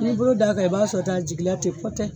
N'i bolo d'a kan i b'a sɔrɔ tan a jigin la tɛ pɔtɛ.